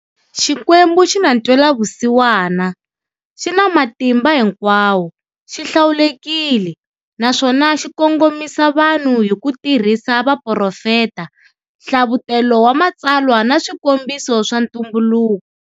Xikwembu xina ntwelavusiwana, xina matimba hinkwawo, xihlawulekile, naswona xikongomisa vanhu hi kutirhisa vaprofeta, hlavutelo wa matsalwa na swikombiso swa ntumbuluko.